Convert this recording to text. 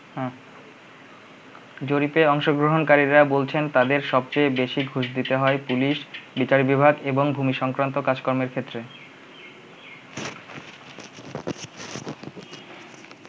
জরিপে অংশগ্রহণকারীরা বলছেন তাদের সবচেয়ে বেশি ঘুষ দিতে হয় পুলিশ, বিচার বিভাগ, এবং ভুমিসংক্রান্ত কাজ কর্মের ক্ষেত্রে।